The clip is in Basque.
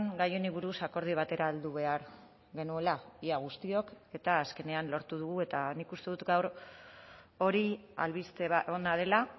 gai honi buruz akordio batera heldu behar genuela ia guztiok eta azkenean lortu dugu eta nik uste dut gaur hori albiste ona dela